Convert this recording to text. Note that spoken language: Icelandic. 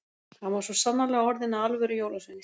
Hann var svo sannarlega orðinn að alvöru jólasveini.